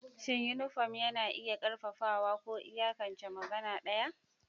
Shin yunifom na iya ƙarfafawa ko iyakance magana ɗaya?